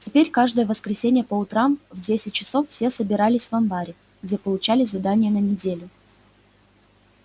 теперь каждое воскресенье по утрам в десять часов все собирались в амбаре где получали задания на неделю